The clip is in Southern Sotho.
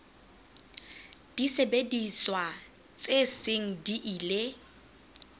disebediswa tse seng di ile